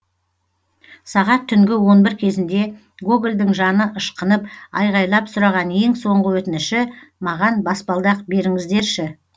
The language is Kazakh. сағат түнгі он бір кезінде гогольдың жаны ышқынып айғайлап сұраған ең соңғы өтініші маған баспалдақ беріңіздерші